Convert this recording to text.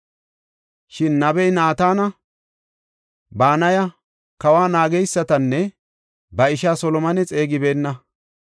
Shin nabey Naatana, Banaya, kawa naageysatanne ba isha Solomone xeegibeenna.